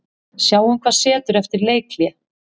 Sjáum hvað setur eftir leikhlé.